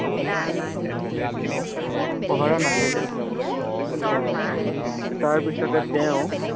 পহৰা নাছিলে। তাৰ পিছতে তেওঁ